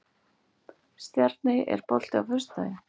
Stjarney, er bolti á föstudaginn?